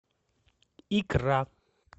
икра